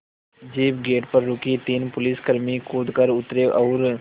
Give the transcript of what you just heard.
jeep gate पर रुकी तीन पुलिसकर्मी कूद कर उतरे और